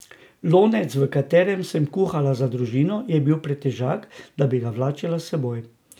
Lonec, v katerem sem kuhala za družino, je bil pretežak, da bi ga vlačila s seboj.